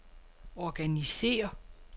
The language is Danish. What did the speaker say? organisér